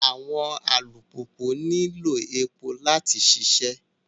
Awọn alupupu nilo epo lati ṣiṣẹ